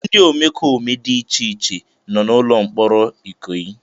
Ndị omekome dị iche iche nọ na ụlọ mkpọrọ Ikoyi.